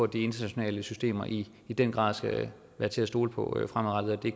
de internationale systemer i i den grad skal være til at stole på fremadrettet og at det